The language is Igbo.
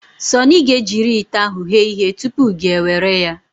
Sunny ga-ejiri ite ahụ ghee ihe tụpụ gị ewere ya.